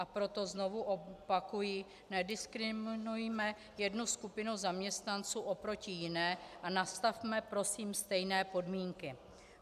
A proto znovu opakuji, nediskriminujme jednu skupinu zaměstnanců oproti jiné a nastavme prosím stejné podmínky.